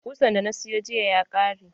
Ƙusan da na siyo jiya ya ƙare.